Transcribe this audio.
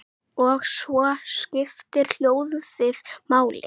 Og svo skiptir hljóðið máli.